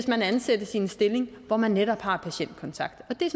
man ansættes i en stilling hvor man netop har patientkontakt og det